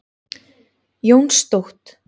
Jónstótt